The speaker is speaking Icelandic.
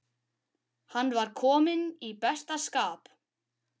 Hann var kominn í besta skap.